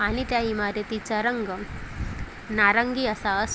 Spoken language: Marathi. आणि त्या इमारतीचा रंग नारंगी असा असू--